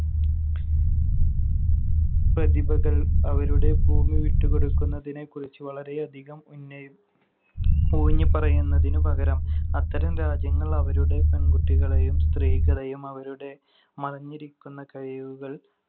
പ്രതിഭകൾ അവരുടെ ഭൂമി വിട്ടുകൊടുക്കുന്നതിനെക്കുറിച്ച് വളരെയധികം ഉന്നയി~ ഊന്നിപ്പറയുന്നതിനുപകരം അത്തരം രാജ്യങ്ങൾ അവരുടെ പെൺകുട്ടികളെയും സ്ത്രീകളെയും അവരുടെ മറഞ്ഞിരിക്കുന്ന കഴിവുകൾ